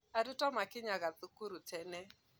Aruto makinyaga thukuru tene